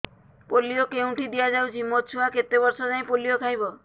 polio କେଉଁଠି ଦିଆଯାଉଛି ମୋ ଛୁଆ କେତେ ବର୍ଷ ଯାଏଁ ପୋଲିଓ ଖାଇବ